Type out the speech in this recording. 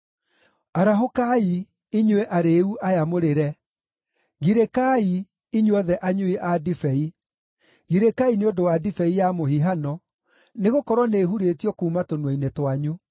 Arahũkai, inyuĩ arĩĩu aya mũrĩre! Girĩkai, inyuothe anyui a ndibei; girĩkai nĩ ũndũ wa ndibei ya mũhihano, nĩgũkorwo nĩĩhurĩtio kuuma tũnua-inĩ twanyu.